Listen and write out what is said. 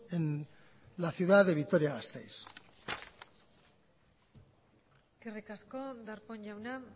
en la ciudad de vitoria gasteiz eskerrik asko darpón jauna